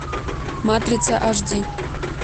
матрица аш ди